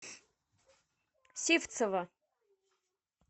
сивцева